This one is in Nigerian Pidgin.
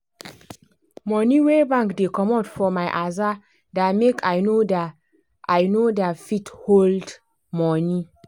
money wey bank dey comot for my aza da make i no da i no da fit hold money